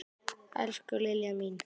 Elsku Liljan mín.